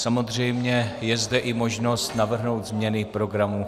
Samozřejmě je zde i možnost navrhnout změny programu.